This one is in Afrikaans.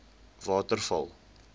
waterval